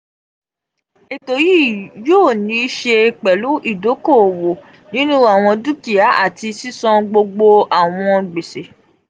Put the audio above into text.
eto yii yoo ni se pelu idoko-owo ninu awọn dukia ati sisan gbogbo awọn gbese.